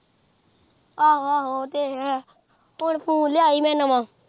ਆਹੋ ਆਹੋ ਓਹ ਤੇ ਹੈ ਹੁਣ ਫੋਨ ਲਿਆ ਸੀ ਮੈਂ ਨਵਾਂ